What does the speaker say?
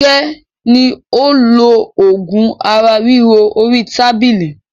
Fúnkẹ́ ni ó lo oògùn ara ríro orí tábìlì.